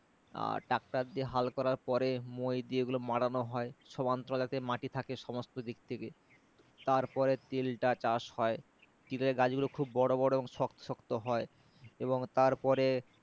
আর tractor দিয়ে হাল করার পরে মোই দিয়ে ওগুলো মাড়ানো হয় সমান্তরাল যাতে মাটি থাকে সমস্ত দিক থেকে তার পরে তিলটা চাষ হয় তিলের গাছ গুলো খুব বড়ো বড়ো এবং শক্ত শক্ত হয় এবং তারপরে